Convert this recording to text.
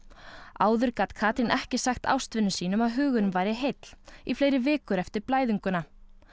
áður gat Katrín ekki sagt ástvinum sínum að hugurinn væri heill í fleiri vikur eftir blæðinguna